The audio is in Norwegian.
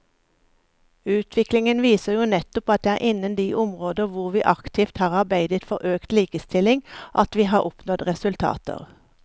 Utviklingen viser jo nettopp at det er innen de områder hvor vi aktivt har arbeidet for økt likestilling at vi har oppnådd resultater.